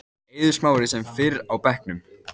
Eiður Smári sem fyrr á bekknum